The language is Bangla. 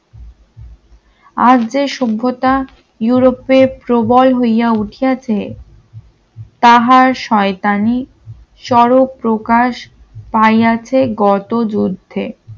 আজ যে সভ্যতা ইউরোপের প্রবল হইয়া উঠেছে তাহার শয়তানি স্বরূপ প্রকাশ পায়ি আছে গত যুদ্ধে